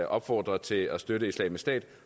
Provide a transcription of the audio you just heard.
opfordret til at støtte islamisk stat